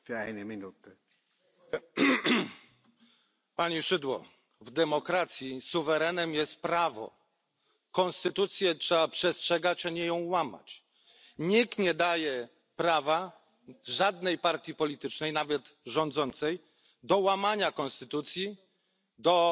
Panie Przewodniczący! Pani Szydło! W demokracji suwerenem jest prawo, konstytucji trzeba przestrzegać, a nie ją łamać. Nikt nie daje prawa żadnej partii politycznej, nawet rządzącej, do łamania konstytucji,